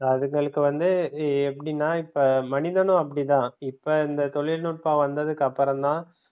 அதுகளுக்கு வந்து எப்படின்னா இப்ப மனிதனும் அப்படி தான் இப்ப இந்த தொழில்நுட்பம் வந்ததுக்கப்புறம் தான்